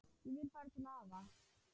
Ég vil fara til afa